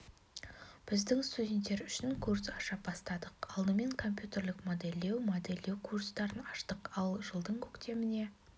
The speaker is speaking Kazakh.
біздің студенттер үшін курс аша бастадық алдымен компьютерлік модельдеу модельдеу курстарын аштық ал жылдың көктеміне